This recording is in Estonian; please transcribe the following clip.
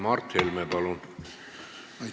Mart Helme, palun!